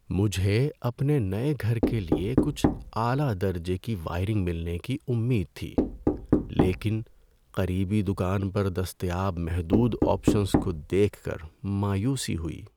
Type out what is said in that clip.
مجھے اپنے نئے گھر کے لیے کچھ اعلی درجے کی وائرنگ ملنے کی امید تھی، لیکن قریبی دکان پر دستیاب محدود آپشنز کو دیکھ کر مایوسی ہوئی۔